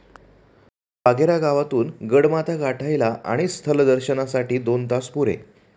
वाघेरा गावातून गडमाथा गाठायला आणि स्थल दर्शनासाठी दोन तास पुरे.